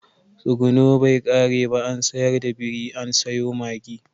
Tsuguno bai kare ba an sayar da biri an sayo mage.